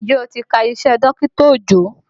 Njẹ́ o ti ka iṣẹ́ dọkita Òjó?